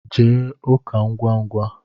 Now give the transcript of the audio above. Jee ụka ngwa ngwa